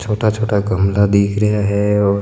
छोटा छोटा गमला दिख रहा है और --